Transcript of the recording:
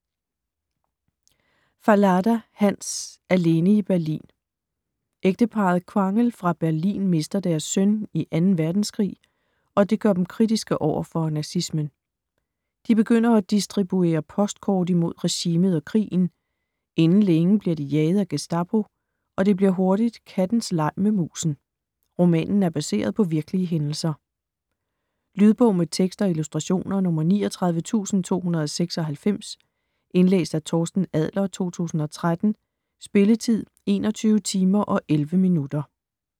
Fallada, Hans: Alene i Berlin Ægteparret Quangel fra Berlin mister deres søn i 2. verdenskrig, og det gør dem kritiske over for nazismen. De begynder at distribuere postkort imod regimet og krigen. Inden længe bliver de jaget af Gestapo, og det bliver hurtigt kattens leg med musen. Romanen er baseret på virkelige hændelser. Lydbog med tekst og illustrationer 39296 Indlæst af Torsten Adler, 2013. Spilletid: 21 timer, 11 minutter.